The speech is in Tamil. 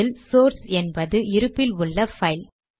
இதில் சோர்ஸ் என்பது இருப்பில் உள்ள பைல்